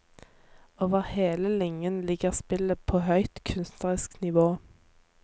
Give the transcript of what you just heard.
Over hele linjen ligger spillet på høyt kunstnerisk nivå.